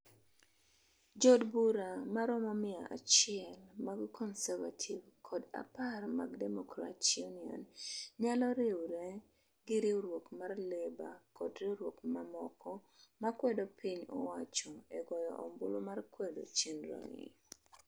Jood bura maromo miya achiel mag Conservative kod apar mag Democrat Union nyalo riwre gi riwruok mar Labor kod riwruok mamoko ma kwedo piny owacho e goyo ombulu mar kwedo chenro ni.